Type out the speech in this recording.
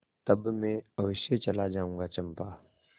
तब मैं अवश्य चला जाऊँगा चंपा